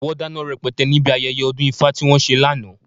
Wọ́n dáná rẹpẹtẹ níbi ayẹyẹ ọdún ifá tí wọ́n ṣe lánàá.